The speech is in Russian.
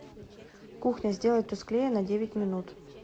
кухня сделай тусклее на девять минут